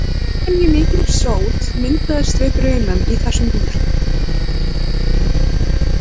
Óvenjumikið sót myndast við brunann í þessum bíl.